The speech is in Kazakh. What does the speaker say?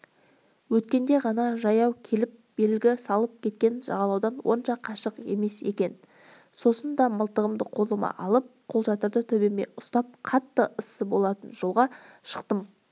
өткенде ғана жаяу келіп белгі салып кеткен жағалаудан онша қашық емес екен сосын да мылтығымды қолыма алып қолшатырды төбеме ұстап қатты ыссы болатын жолға шықтым